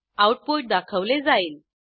output दाखवले जाईल